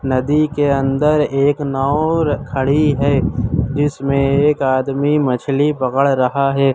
नदी के अंदर एक नाव खड़ी है जिसमें एक आदमी मछली पकड़ रहा है।